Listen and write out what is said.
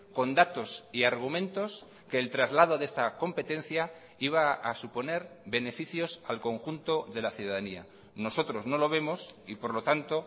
con datos y argumentos que el traslado de esta competencia iba a suponer beneficios al conjunto de la ciudadanía nosotros no lo vemos y por lo tanto